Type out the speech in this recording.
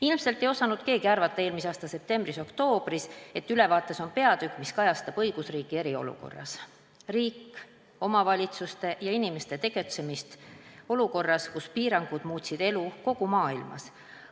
Ilmselt ei osanud keegi eelmise aasta septembris-oktoobris arvata, et ülevaates on peatükk, mis kajastab õigusriiki eriolukorras, riigi, omavalitsuste ja inimeste tegutsemist olukorras, kus piirangud muutsid elu kogu maailmas.